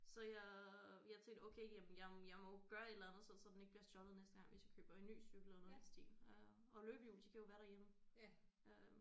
Så jeg jeg tænkte okay jamen jeg må jeg må jo gøre et eller andet så så den ikke bliver stjålet næste gang hvis jeg køber en ny cykel eller noget i den stil øh og løbehjul de kan jo være derhjemme øh